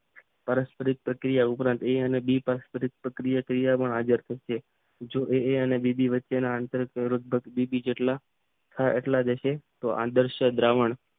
પરાશ પરિક પ્રક્રિયા અંતરાલ એ અને બી પરાશપરીત પ્રક્રિયા તૈયારો આઝાદ થશે જો એ અને બી વચ્ચેના આંતર પ્રેરક બી બી જેટલા હશે તો આંતરશય દ્રાવણ